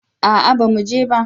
A'a ba mu je ba